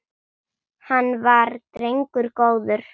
Hann var drengur góður.